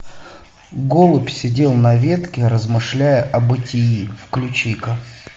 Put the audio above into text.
голубь сидел на ветке размышляя о бытии включи ка